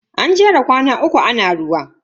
An jera kwana uku ana ruwa.